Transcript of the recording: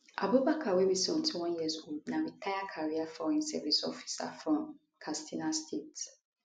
abubakar wey be 71 years old na retired career foreign service officer from katsina state